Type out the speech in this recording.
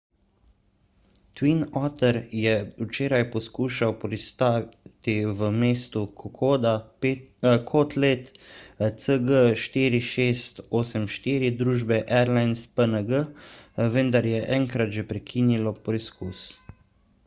twin otter je včeraj poskušal pristati v mestu kokoda kot let cg4684 družbe airlines png vendar je enkrat že prekinilo poskus